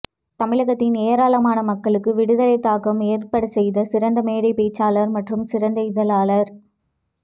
தமிழகத்தின் ஏராளமான மக்களுக்கு விடுதலைத் தாகம் ஏற்படச்செய்த சிறந்த மேடைப்பேச்சாளர் மற்றும் சிறந்த இதழாளர்